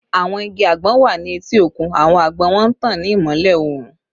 Awọn igi agbon wa ni eti okun, awọn agbon wọn n tan ni imọlẹ oorun